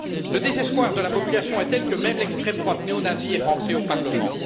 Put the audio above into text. Le désespoir de la population est tel que même l'extrême droite néo nazie est rentrée au Parlement.